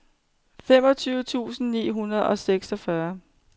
femogtyve tusind ni hundrede og seksogfyrre